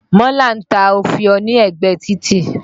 Mọ́là ń ta òfìó ní ẹ̀gbẹ títì.